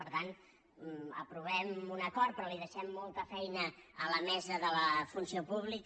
per tant aprovem un acord però li deixem molta feina a la mesa de la funció pública